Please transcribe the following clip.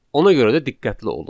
Ona görə də diqqətli olun.